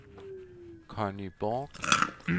Conny Borch